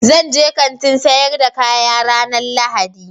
Zan je Kantin sayar da kaya ranan lahadi.